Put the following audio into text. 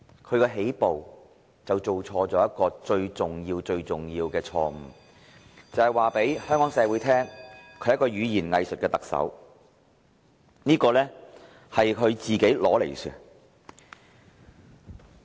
他一起步便犯了最重要、最重要的錯誤，便是告訴香港社會他是一名語言"偽術"的特首，這是他活該的。